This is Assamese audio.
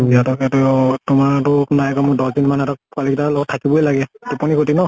ইহঁতকে টো তোমাৰ টো নাই কমেও দশ দিন মান পোৱালী কেইতাৰ লগত থাকিবই লাগে। টোপনী ক্ষ্তি ন।